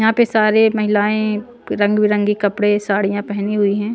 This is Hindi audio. यहाँ पे सारे महिलाएं रंग बिरंगी कपड़े साड़ियाँ पहनी हुई हैं।